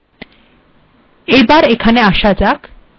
আউটপুটে পরিবর্তনটি লক্ষ্য করুন